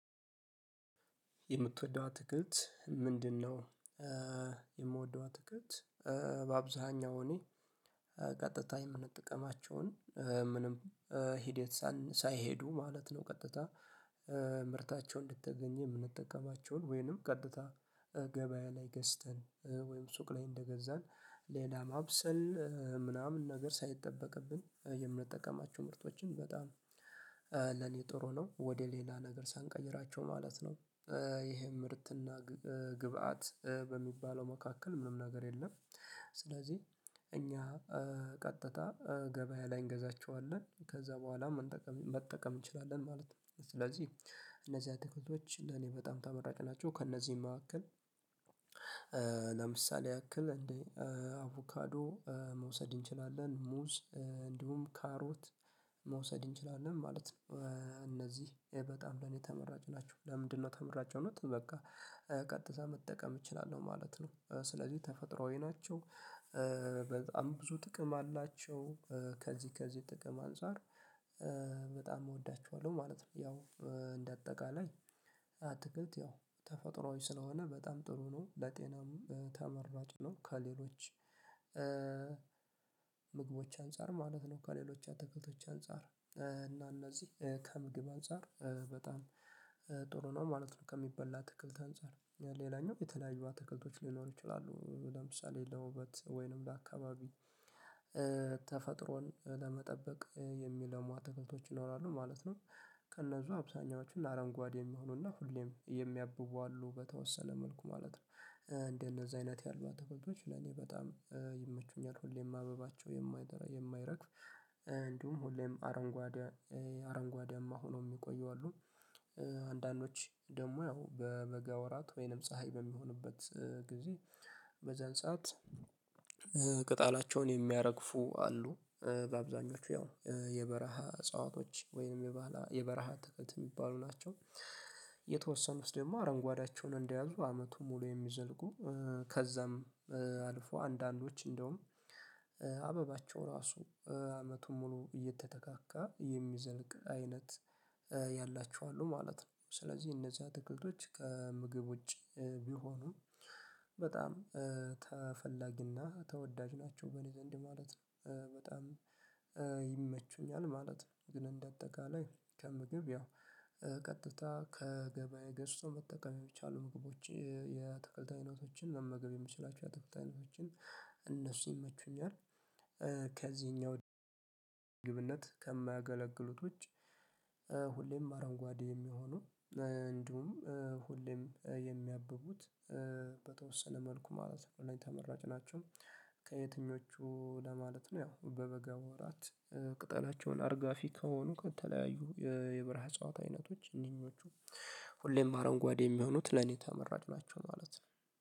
የምትወደው አትክልት ምንድነው? የምወደው አትክልት በአብዛኛው እኔ ቀጥታ የምንጠቀማቸውን ምንም ሂደት ሳይሄዱ ማለት ነው ቀጥታ ምርታቸው እንደተገኘ የምንጠቀማቸውን ወይንም ቀጥታ ገበያ ላይ ገዝተን ወይም ሱቅ ላይ እንደገዛን ሌላ ማብሰል ምናምን ነገር ሳይጠበቅብን የምንጠቀማቸው ምርቶችን በጣም ለኔ ጥሩ ነው ወደ ሌላ ነገር ሳንቀይራቸው ማለት ነው። ይሄ ምርትና ግብአት በሚባለው መካከል ምንም ነገር የለም ስለዚህ እኛ ቀጥታ ገበያ ላይ እንገዛቸዋለን ከዛ በኋላም መጠቀም እንችላለን ማለት ነው። ስለዚህ እነዚህ አትክልቶች ለኔ በጣም ተመራጭ ናቸው ከእነዚህም መካከል ለምሳሌ ያክል እንደ አቮካዶ መውሰድ እንችላለን ሙዝ እንዲሁም ካሮት መውሰድ እንችላለን ማለት ነው እነዚህ በጣም ለኔ ተመራጭ ናቸው። ለምንድነው ተመራጭ የሆኑት በቃ ቀጥታ መጠቀም እችላለሁ ማለት ነው። ስለዚህ ተፈጥሮአዊ ናቸው በጣም ብዙ ጥቅም አላቸው ከዚህ ከዚህ ጥቅም አንፃር በጣም እወዳቸዋለሁ ማለት ነው። ያው እንደ አጠቃላይ አትክልት ያው ተፈጥሮአዊ ስለሆነ በጣም ጥሩ ነው ለጤናም ተመራጭ ነው ከሌሎች ምግቦች አንፃር ማለት ነው ከሌሎች አትክልቶች አንፃር እና እነዚህ ከምግብ አንፃር በጣም ጥሩ ነው ማለት ነው። ከሚበላ አትክልት አንፃር ሌላኛው የተለያዩ አትክልቶች ሊኖሩ ይችላሉ ለምሳሌ ለውበት ወይንም ለአካባቢ ተፈጥሮን ለመጠበቅ የሚለሙሉ አትክልቶች ይኖራሉ ማለት ነው። ከእነዚህ አብዛኛዎቹ አረንጓዴ የሚሆኑና ሁሌም የሚያብቡ አሉ በተወሰነ መልኩ ማለት ነው አንደዚህ አይነት ያሉ አትክልቶች ለኔ በጣም ይመቹኛል ሁሌም አበባቸው የማይረግፍ ሁሌም አረንጓዴ አረንጓዴማ ሆነው የሚቆዩ አሉ። አንዳንዶች ደግሞ ያው በበጋ ወራት ወይንም ፀሀይ በሚሆንበት ጊዜ በዛን ሰዓት ቅጣላቸውን የሚያረግፉ አሉ በአብዛኞቹ ያው የበረሃ እጽዋቶች ወይንም የበረሃ አትክልት የሚባሉ ናቸው። የተወሰኑት ደግሞ አረንጓዴያቸውን እንደያዙ አመቱ ሙሉ የሚዘልቁ ከዛም አልፎ አንዳንዶች እንደውም አበባቸው ራሱ አመቱን ሙሉ እየተተካካ የሚዘልቅ አይነት ያላቸው አሉ ማለት ነው። ስለዚህ እነዚህ አትክልቶች ከምግብ ውጪ ቢሆኑ በጣም ተፈላጊና ተወዳጅ ናቸው በእኔ ዘንድ ማለት ነው በጣም ይመቹኛል ማለት ነው። ግን እንደ አጠቃላይ ከምግብ ያው ቀጥታ ከገበያ ገዝቶ መጠቀም የሚቻሉ ምግቦች የአትክልት አይነቶችን መመገብ የምችላቸው የአትክልቶች አይነቶችን እነሱ ይመቹኛል። ከዚህኛው ከማያገለግሉት ውጭ ሁሌም አረንጓዴ የሚሆኑ እንዲሁም ሁሌም የሚያብቡት በተወሰነ መልኩ ማለት ነው ተመራጭ ናቸው። ከየትኞቹ ለማለት ነው ያው በበጋ ወራት ቅጠላቸውን አርጋፊ ከሆኑ ከተለያዩ የበረሃ እጽዋት አይነቶች እነኚህኞቹ ሁሌም አረንጓዴ የሚሆኑት ለኔ ተመራጭ ናቸው ማለት ነው